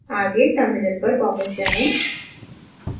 आगे terminal पर वापस आएं